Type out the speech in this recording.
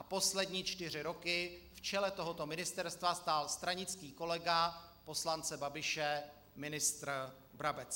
A poslední čtyři roky v čele tohoto ministerstva stál stranický kolega poslance Babiše ministr Brabec.